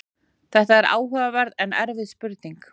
þetta er áhugaverð en erfið spurning